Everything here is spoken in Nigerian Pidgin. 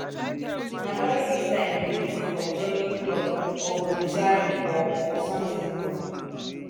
na during this time dem dey think of joining club or volunteering for for something